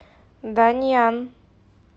даньян